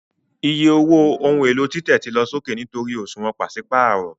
Iye owó ohun èlò títẹ̀ ti lọ sókè nítorí òṣùwọ̀n pàṣípààrọ̀